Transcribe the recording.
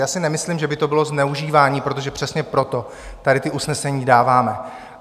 Já si nemyslím, že by to bylo zneužívání, protože přesně proto tady ta usnesení dáváme.